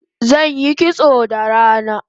Zanyi kitso da rana